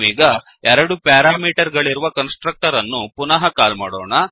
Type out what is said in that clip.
ನಾವೀಗ ಎರಡು ಪ್ಯಾರಾಮೀಟರ್ ಗಳಿರುವ ಕನ್ಸ್ ಟ್ರಕ್ಟರ್ ಅನ್ನು ಪುನಃ ಕಾಲ್ ಮಾಡೋಣ